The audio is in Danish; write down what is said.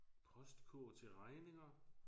Postkurv til regninger